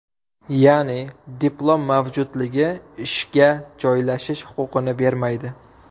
Ya’ni, diplom mavjudligi ishga joylashish huquqini bermaydi.